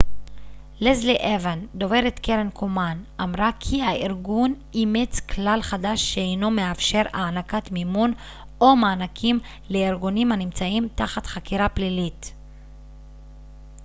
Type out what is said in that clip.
לסלי אוון דוברת קרן קומן אמרה כי הארגון אימץ כלל חדש שאינו מאפשר הענקת מימון או מענקים לארגונים הנמצאים תחת חקירה פלילית